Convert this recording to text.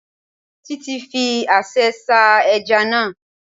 Títí fi aṣẹ́ sá ẹja náà